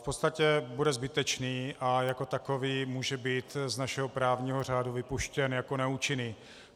V podstatě bude zbytečný a jako takový může být z našeho právního řádu vypuštěn jako neúčinný.